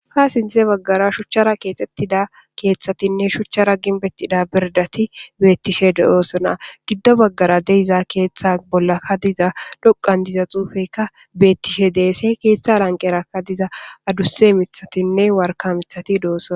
Ha sinthe baggara shuchchara keexxettida keeththatinne shuchchara ginbettida birdati beettishe dooosona giddo baggara deiza keeththa bolla ka diza dhoqan diza xuufekka beettishe deesse keeththa lanqerakka diza adusse mithatinne warka mithati dooson.